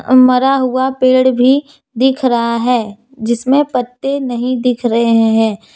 मरा हुआ पेड़ भी दिख रहा है जिसमें पत्ते नहीं दिख रहे हैं।